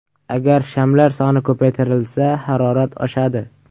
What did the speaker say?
Agar shamlar soni ko‘paytirilsa, harorat oshadi.